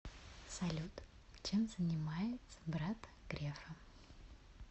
салют чем занимается брат грефа